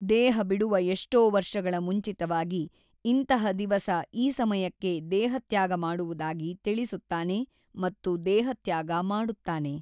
ದೇಹ ಬಿಡುವ ಎಷ್ಟೊ ವರ್ಷಗಳ ಮುಂಚಿತವಾಗಿ ಇಂತಹ ದಿವಸ ಈ ಸಮಯಕ್ಕೆ ದೇಹತ್ಯಾಗ ಮಾಡುವುದಾಗಿ ತಿಳಿಸುತ್ತಾನೆ ಮತ್ತು ದೇಹತ್ಯಾಗ ಮಾಡುತ್ತಾನೆ.